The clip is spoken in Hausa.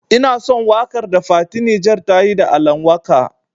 Ina son waƙar da fati Niger tayi da Alan waka.